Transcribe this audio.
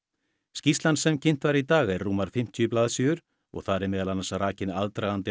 skýrslan sem kynnt var í dag er rúmar fimmtíu blaðsíður að og þar er meðal annars rakinn aðdragandi